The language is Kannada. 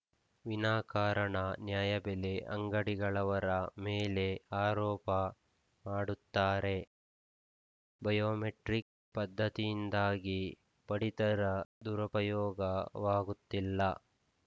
ವಿನಾಕಾರಣ ನ್ಯಾಯಬೆಲೆ ಅಂಗಡಿಗಳವರ ಮೇಲೆ ಆರೋಪ ಮಾಡುತ್ತಾರೆ ಬಯೋಮೆಟ್ರಿಕ್‌ ಪದ್ಧತಿಯಿಂದಾಗಿ ಪಡಿತರ ದುರುಪಯೋಗವಾಗುತ್ತಿಲ್ಲ